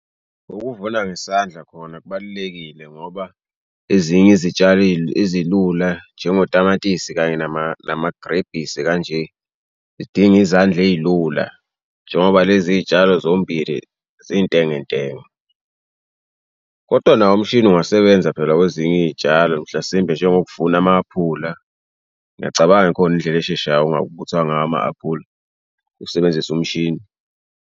Ukuvuna ngesandla kona kubalulekile ngoba ezinye izitshalo ezilula njengotamatisi kanye namagrebhisi kanje. Yidinga izandla eyilula njengoba lezi tshalo zombili zintengentenge, kodwa nawo umshini ungasebenza phela kwezinye iy'tshalo. Mhlasimbe njengokuvuna ama-aphula. Ngiyacabanga ikhona indlela esheshayo ngawo ama-aphula ukusebenzisa umshini.